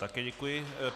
Také děkuji.